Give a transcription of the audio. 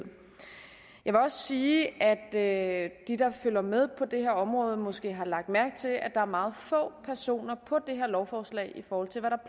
jeg vil også sige at de der følger med på det her område måske har lagt mærke til at der er meget få personer på det her lovforslag i forhold til hvad der